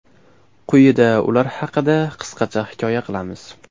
Quyida ular haqida qisqacha hikoya qilamiz.